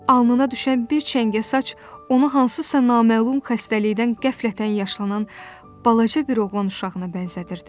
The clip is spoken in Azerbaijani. Alnına düşən bir çəngə saç onu hansısa naməlum xəstəlikdən qəflətən yaşlanan balaca bir oğlan uşağına bənzədirdi.